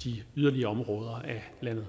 i yderområderne af landet